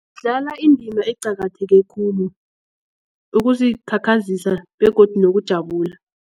indima eqakatheke khulu ukuzikhakhazisa begodu nokujabula.